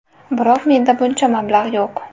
Biroq menda buncha mablag‘ yo‘q.